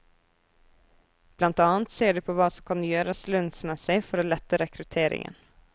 Blant annet ser de på hva som kan gjøres lønnsmessig for å lette rekrutteringen.